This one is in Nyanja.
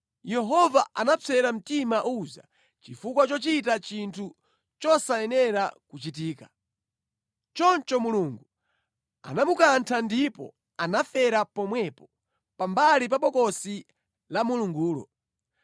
Yehova anapsera mtima Uza chifukwa chochita chinthu chosayenera kuchitika. Choncho Mulungu anamukantha ndipo anafera pomwepo pambali pa Bokosi la Mulungulo.